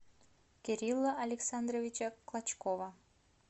кирилла александровича клочкова